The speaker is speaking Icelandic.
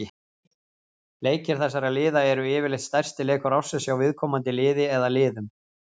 Leikir þessara liða er yfirleitt stærsti leikur ársins hjá viðkomandi liði eða liðum.